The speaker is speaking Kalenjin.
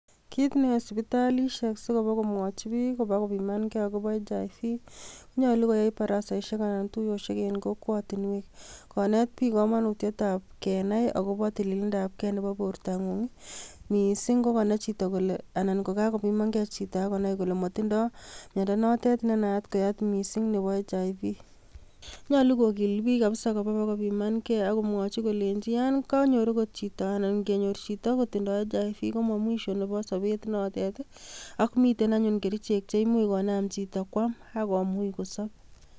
Kit neyooe sipitalisiek, sikomwochi biik ibakopimankee akobo Hiv, konyoolu koyaai barasaisiek anan tuyosiek en kokwet anan kokwotiniwek. Konet biik komonutietab kenai akobo tililndob gei nebo bortanguu, missing ko konai chito kole Kankakopiman get chito akonai kolemotindoi myondoo notet nenaat ko HIV.Nyolu kogiil biik kabisa koba kopimankei akomwochii kolenyii yon konyoor akot chito, anan ingenyoor chito kotindoi HIV, komo mwisho nebo sobet notet. Ak miten anyun kerichek cheimuch konaam chito kwam akkomuch kosoob.